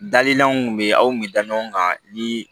Dalilanw bɛ yen aw min da ɲɔgɔn kan ni